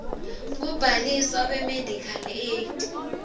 kubhaliswa kwemedical aid